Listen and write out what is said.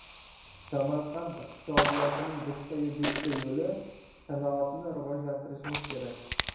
Samarqand iqtisodiyotining bitta-yu bitta yo‘li sanoatni rivojlantirishimiz kerak.